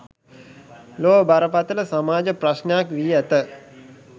ලොව බරපතළ සමාජ ප්‍රශ්නයක් වී ඇත